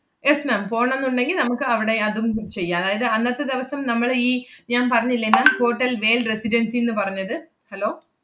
yes ma'am പോണന്നുണ്ടെങ്കി നമ്മക്ക് അവടെ അതും ചെയ്യാം. അതായത് അന്നത്തെ ദെവസം നമ്മള് ഈ ഞാൻ പറഞ്ഞില്ലേ ma'am ഹോട്ടൽ വേൽ റെസിഡൻസിന്ന് പറഞ്ഞത് hello